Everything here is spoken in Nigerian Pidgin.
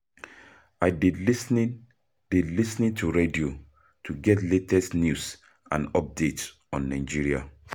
I dey lis ten dey lis ten to radio to get latest news and updates on Nigeria.